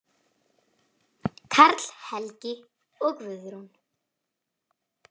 Karl Helgi og Guðrún.